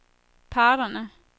parterne